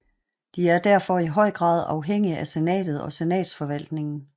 De er derfor i høj grad afhængige af senatet og senatsforvaltningen